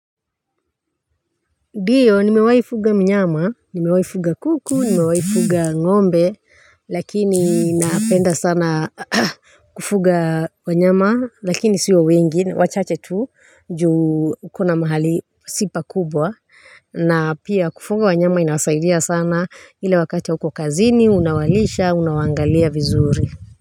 Ndio, nimewaifuga mnyama, nimewaifuga kuku, nimewaifuga ngombe, lakini napenda sana kufuga wanyama, lakini sio wengi, wachache tu, juu kuna mahali si pakubwa, na pia kufuga wanyama inasaidia sana ile wakati hauko kazini, unawalisha, unawangalia vizuri.